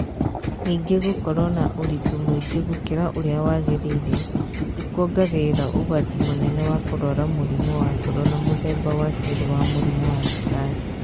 Ningĩ gũkorũo na ũritũ mũingĩ gũkĩra ũrĩa wagĩrĩire nĩ kuongagĩrĩra ũgwati mũnene wa kũrũara mũrimũ wa ngoro na mũthemba wa kerĩ wa mũrimũ wa cukari.